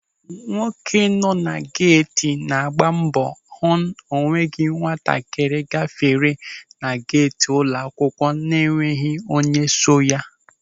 Nwoke na-anọ geeti na-agba mbọ hụ o nweghị nwatakịrị ga-fere na geeti ụlọ akwụkwọ na enweghị onye so ha.